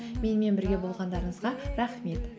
менімен бірге болғандарыңызға рахмет